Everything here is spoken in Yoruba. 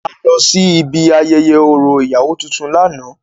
A lọ síbi ayẹyẹ orȯ ìyàwó tuntun lánàá.